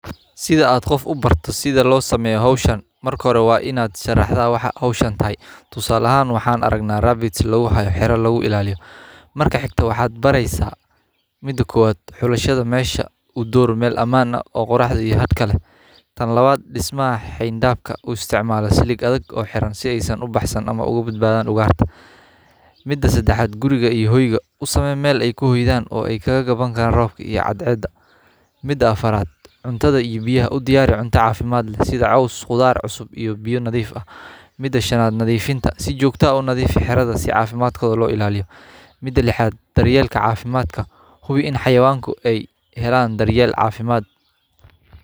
Sitha aa qof u barto sitha lo sameyo hashan marka hore waa ina sharaxda hoshatan waxan aragna rabbit kujirtaa xero ilaliyo marka xigta waxaa bareysa mida kowad xulashada bishada mesha udor meel xen daf ah si uisticmala silig adag oo xiran si ee oga bad badan ugarta mida sedaxad usame meel ee ku hoydan oo ee oga gabadan robka iyo cad ceda mida afarad udiyari cunta cafimaad leh sitha cos qudhaar iyo biya nadhif eh mida shanad nadhifinta nadhifi xerada si jogto ah oo lo ilaliyo mida lixad daryelka cafimaadka uyel daryeel cafimaad.